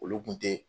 Olu kun tɛ